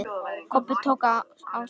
Kobbi tók af skarið.